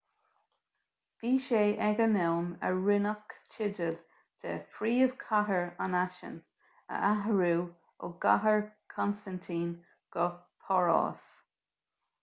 bhí sé ag an am a rinneadh teideal de phríomhchathair an fhaisin a athrú ó chathair chonstaintín go páras